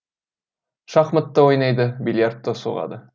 шахмат та ойнайды бильярд та соғады